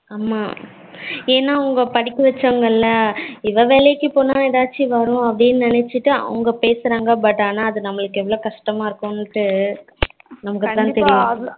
ஹம் என்னா அவங்க படிக்க வச்சவங்கள இவா வேலைக்கு போனா ஏதாச்சும் வரும்னு அப்படினு நிணச்சீட்டு அவங்க பேசுறாங்க but ஆனா அது நம்மளுக்கு எவளோ கஷ்டமா இருக்கும்டு நமக்கு தான் தெரியும்